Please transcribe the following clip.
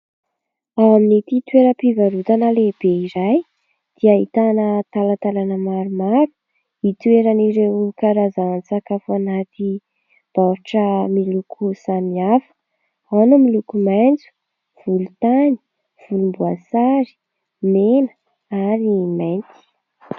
Ao amin'ity toeram-pivarotana lehibe iray dia ahitana talatalana maromaro hitoeran'ireo karazan-tsakafo anaty baoritra miloko samihafa. Ao ny miloko maitso, volontany, volomboasary, mena ary mainty.